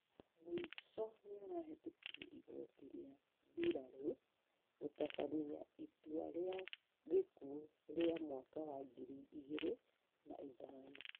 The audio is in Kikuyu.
mũico nĩarahetũkirie igoti rĩa mbirarũ gũtabania itũa rĩa gĩkuũ rĩa mwaka wa ngiri igĩrĩ na ithano